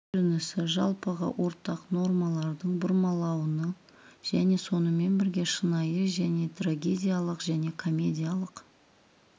көрінісі жалпыға ортақ нормалардың бұрмалануын және сонымен бірге шынайы және трагедиялық және комедиялық